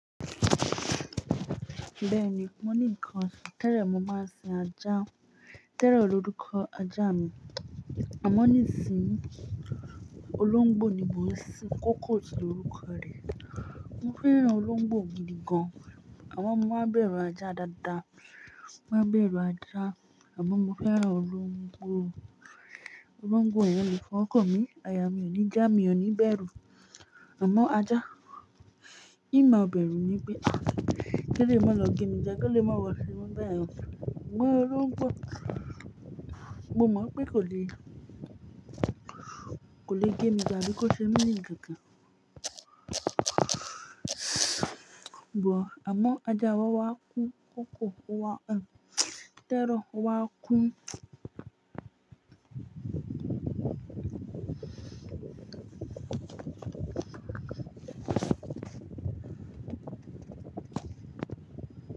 Bẹ́ẹ̀ni, mo ní nǹkan osin tẹ́lẹ̀ mo máa ń sin ajá, terror lórúkọ ajá mi. Àmọ́ nísìíyí, olóńgbò ni mò ń sin. Kókó si lórúkọ rẹ̀. Mo fẹ́ràn olóńgbò gidi gan, àmọ́ mo má bẹ̀rù ajá dáadáa. Mo má bẹ̀rù ajá, àmọ́ mo fẹ́ràn olóńgbò. Olóńgbò yẹn lè fọwo kan mi, àyà mi ò ní já mi ò ní bẹ̀rù. Àmọ́ ajá, n má bẹ̀rù ni pé kí eleyii má lọ gé mi, kó lè má wọ́ ṣe mọ́ báyen. Sugbon olóngbò, mo mọ̀ pé kò le, kò le gé mi je abi kó ṣe mí nì kankan. But, àmọ́ ajá wa wá kú kókò o wa, tero o wá kú.